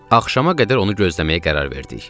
Axşama qədər onu gözləməyə qərar verdik.